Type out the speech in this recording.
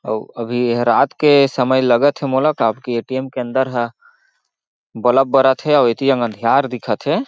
अउ अभी एहा रात के समय लगत हे मोला काबर की ए.टी.एम. के अंदर ह बलब बरत हे अउ ए.टी.एम. अंधियार दिखत हे।